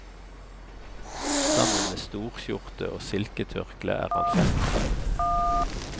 Sammen med storskjorte og silketørkle er han festkledd.